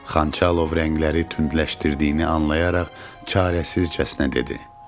Xançalov rəngləri tündləşdirdiyini anlayaraq çarəsizcəsinə dedi.